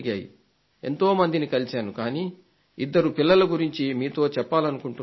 ఎంతో మందిని కలిశాను కానీ ఇద్దరు పిల్లల గురించి మీతో చెప్పాలనుకుంటున్నాను